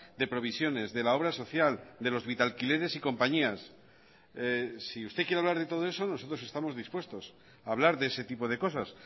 de provisiones de la obra social de los vitalquileres y compañías si usted quiere hablar de todo eso nosotros estamos dispuestos a hablar de ese tipo de cosas